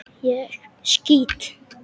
Ég skýt!